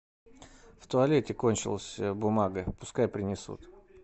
в туалете кончилась бумага пускай принесут